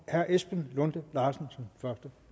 herre esben lunde larsen